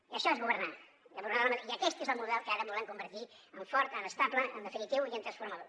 i això és governar i aquest és el model que ara volem convertir en fort en estable en definitiu i en transformador